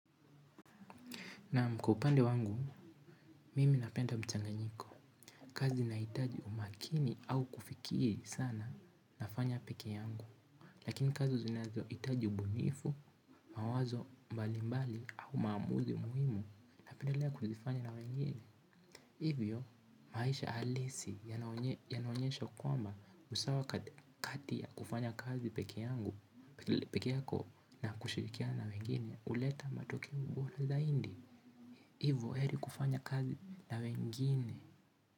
Nam kwa upande wangu, mimi napenda mchanganyiko kazi ina itaji umakini au kufikie sana na fanya peke yangu. Lakini kazi zinazo itaji ubunifu, mawazo mbali mbali au mamuzi muhimu napendelea kuzifanya na wengine. Hivyo, maisha alisi yanaonyesha kwamba usawa kati ya kufanya kazi peke yangu peke yako na kushirikiana na wengene uleta matokeo bora zaindi. Ivo heri kufanya kazi na wengine.